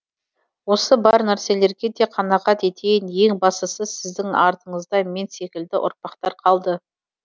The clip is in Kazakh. осы бар нәрселерге де қанағат етейін ең бастысы сіздің артынызда мен секілді ұрпақтар қалды